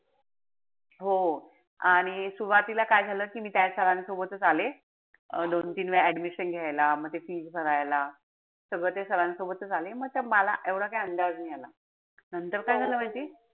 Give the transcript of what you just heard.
हो. आणि सुरवातीला काय झालं कि मी त्या sir सोबतच आले. अं दोन-तीन वेळा admission घायला. म ते fees भरायला. सगळं ते sir न सोबतच आले. म त मला एवढा काय अंदाज नाई आला. नंतर काय झालं माहितीय?